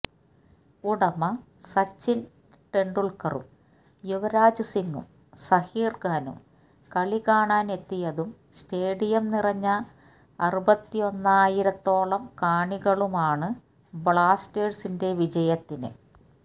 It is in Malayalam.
ഉടമ സച്ചിന് തെന്ഡുല്ക്കറും യുവരാജ് സിംഗും സഹീര്ഖാനും കളി കാണാന് എത്തിയതും സ്റ്റേഡിയം നിറഞ്ഞ അറുപത്തൊന്നായിരത്തോളം കാണികളുമാണ് ബ്ലാസ്റ്റേഴ്സിന്റെ വിജയത്തിന്